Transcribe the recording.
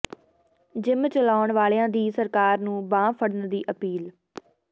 gym ਚਲਾਉਣ ਵਾਲਿਆਂ ਦੀ ਸਰਕਾਰ ਨੂੰ ਬਾਂਹ ਫਡ਼ਨ ਦੀ ਅਪੀਲ